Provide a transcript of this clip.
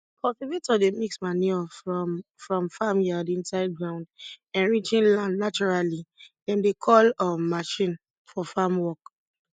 cultivator dey mix manure from from farmyard inside ground enriching land naturally dem dey call um machine for farm work